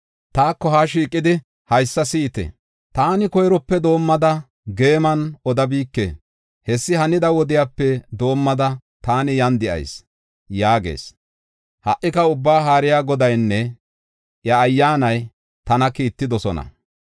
“Taako haa shiiqidi haysa si7ite; “Taani koyrope doomada geeman odabike; hessi hanida wodepe doomada taani yan de7ayis” yaagees. Ha77ika Ubbaa Haariya Godaynne iya Ayyaanay tana kiittidosona.